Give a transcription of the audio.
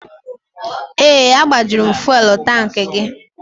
Ee, agbajuru m fuwelụ tankị gị.